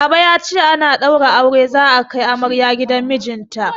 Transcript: Baba ya ce ana ɗaura aure za'a kai amarya gidan mijinta.